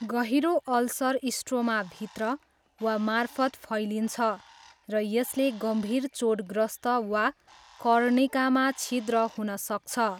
गहिरो अल्सर स्ट्रोमाभित्र वा मार्फत फैलिन्छ र यसले गम्भीर चोटग्रस्त वा कर्णिकामा छिद्र हुन सक्छ।